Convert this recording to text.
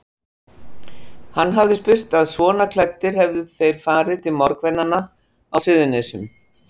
Hann hafði spurt að svona klæddir hefðu þeir farið til morðverkanna á Suðurnesjum.